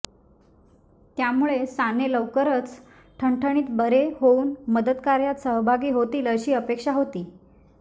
त्यामुळे साने लवकरच ठणठणीत बरे होऊन मदतकार्यात सहभागी होतील अशी अपेक्षा होती